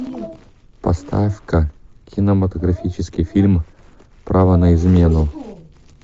поставь ка кинематографический фильм право на измену